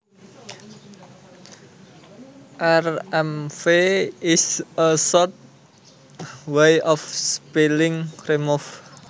Rmv is a short way of spelling remove